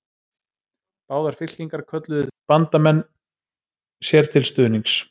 Báðar fylkingar kölluðu til bandamenn sér til stuðnings.